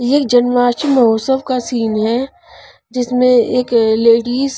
ये जन्माष्टमी महोत्सव का सीन है जिसमें एक लेडीज --